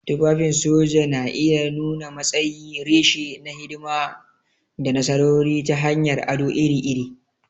Tufafin soja na iya nuna matsayi, reshe na hidima, da nasarori ta hanyar ado iri-iri.